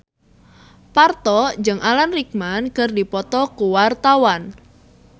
Parto jeung Alan Rickman keur dipoto ku wartawan